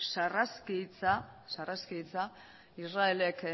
sarraski hitza israelek